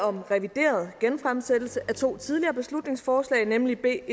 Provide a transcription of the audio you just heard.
om en revideret genfremsættelse af to tidligere beslutningsforslag nemlig b